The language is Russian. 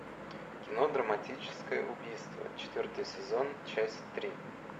кино драматическое убийство четвертый сезон часть три